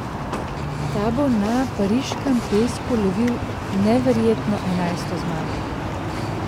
Ta bo na pariškem pesku lovil neverjetno, enajsto zmago.